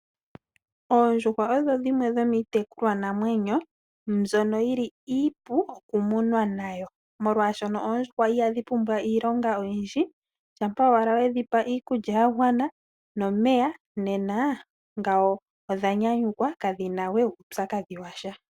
Oondjuhwa odho dhimwe dhomii tekulwa namwenyo mbyono yili iipu oku munwa nayo molwaashono oondjuhwa ihandhi pumbwa iilonga oyindji shampa owala wedhipa iikulya yagwana nomeya nena ngawo odha nyanyukwa kadhina wee uupyakadhi washa.